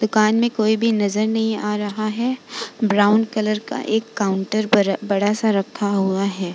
दुकान में कोई भी नजर नहीं आ रहा है। ब्राउन कलर का एक काउंटर बड़ा-बड़ा सा रखा हुआ है।